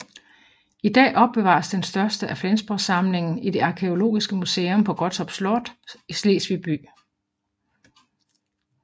I dag opbevares den største del af Flensborgsamlingen i det arkæologiske museum på Gottorp Slot i Slesvig by